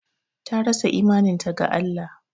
Ta rasa imaninta ga Allah